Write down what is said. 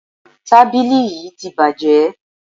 Tábìlì yí ti bàjé.